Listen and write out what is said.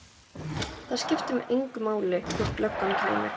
Það skipti mig engu máli þótt löggan kæmi.